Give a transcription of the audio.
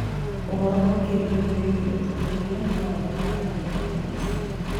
ũhoro makĩria wĩgiĩ ũthuthuria no woneke nenda-inĩ ici